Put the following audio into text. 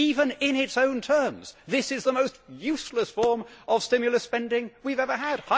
Even in its own terms, this is the most useless form of stimulus spending we have ever had.